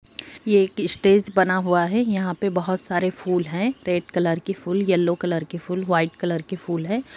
ये एक स्टेज बना हुआ है यहाँ पे बहुत सारे फूल है रेड कलर के फूल येलो कलर के फूल व्हाइट कलर के फूल है।